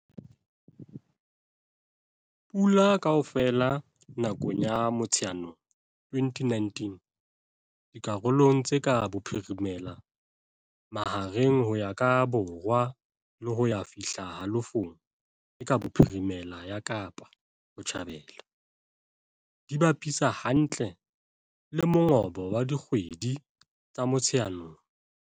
Pula kaofela nakong ya Motsheanong 2019 dikarolong tse ka bophirimela mahareng ho ya ka borwa le ho ya fihla halofong e ka bophirimela ya Kaapa Botjhabela, di bapisa hantle le mongobo wa dikgwedi tsa Motsheanong.